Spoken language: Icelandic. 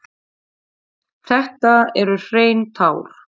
Þetta eru hrein tár.